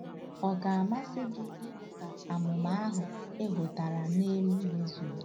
Ọ̀ ga-amasị gị ịhụ ka amụma ahụ e hotara n'elu mezuru?